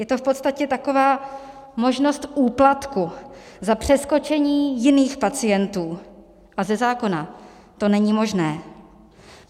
Je to v podstatě taková možnost úplatku za přeskočení jiných pacientů a ze zákona to není možné.